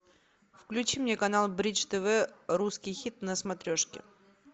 включи мне канал бридж тв русский хит на смотрешке